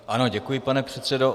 Ano, děkuji, pane předsedo.